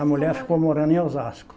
A mulher ficou morando em Osasco.